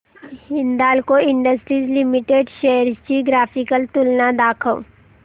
Hindalco industries limited shares ची graphical तुलना दाखव